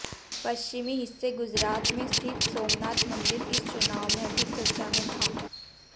पश्चिमी हिस्से गुजरात में स्थित सोमनाथ मंदिर इस चुनाव में अधिक चर्चा में था